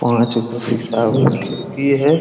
पाँच खिड़की है।